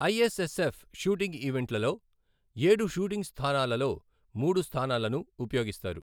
ISSF shooting ఈవెంట్లలో, ఏడు shooting స్థానాలలో మూడు స్థానాలను ఉపయోగిస్తారు.